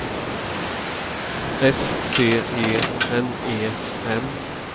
S C E N E N